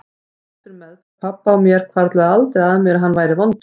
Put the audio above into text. Þrátt fyrir meðferð pabba á mér hvarflaði aldrei að mér að hann væri vondur.